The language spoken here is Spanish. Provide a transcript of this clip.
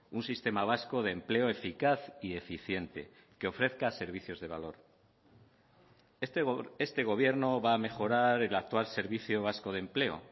un sistema vasco de empleo eficaz y eficiente que ofrezca servicios de valor este gobierno va a mejorar el actual servicio vasco de empleo